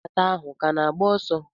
Mgbata ahụ ka na-agba ọsọ?